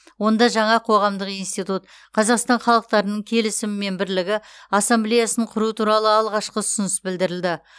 онда жаңа қоғамдық институт қазақстан халықтарының келісімі мен бірлігі ассамблеясын құру туралы алғашқы ұсыныс білдірілді